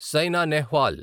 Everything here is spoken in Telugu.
సైనా నెహ్వాల్